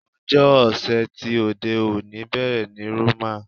Ọjọ́ ọ̀sẹ̀ ti òde òní bẹ̀rẹ̀ ní Roman.